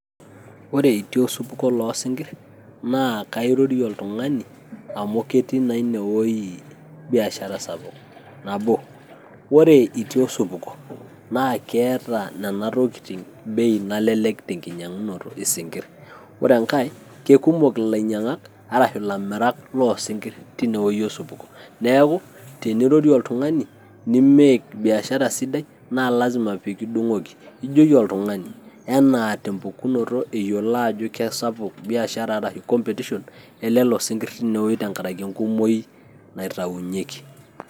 Ore itii osupuko loo sinkirr, naa kairorie oltung'ani amu ketii ine weji biashara sapuk. Nabo, ore itii osupuko naa keeta inena tokiting' bei nalelek tenkinyag'unoto isinkirr. Ore enkae, kekumok ilamirak arashu ilainyang'ak loo sinkirr teine weji osupuko neaku tenirorie oltung'ani, nimake biashara sidai naa lazima pee kidung'oki. ijoki oltung'ani anaa te mpukunoto eyiolo ajo kesapuk biashara ashu competition elelo sinkirr tenkaraki enkumoi naitaunyeki.